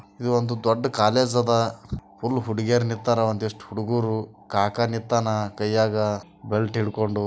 ಇದು ಒಂದು ದೊಡ್ ಕಾಲೇಜ್ ಅದ ಫುಲ್ ಹುಡುಗಿಯರ ನಿಂತರ ಒಂದಿಷ್ಟು ಹುಡುಗೂರು ಕಾಕಾ ನಿಂತಾನ ಕೈಯಾಗ ಬೆಲ್ಟ್ ಹಿಡ್ಕೊಂಡು.